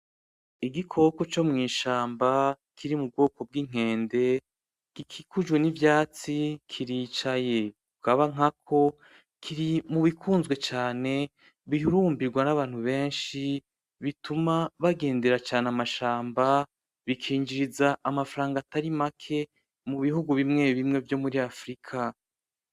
Igikoko co mwishamba kiri mubwoko bwinkende gikikujwe nivyatsi, kiricaye kukaba nkako kirimubikunzwe cane bihurumbirwa nabantu benshi bituma bagendera cane amashamba bikinjiriza amafranga atari make mubihugu bimwe bimwe vyo muri africa.